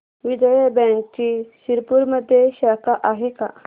विजया बँकची शिरपूरमध्ये शाखा आहे का